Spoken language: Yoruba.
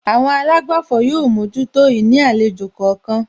Àwọn àlágbàfọ̀ yóò mójútó ìní àlejò kọ̀ọ̀kan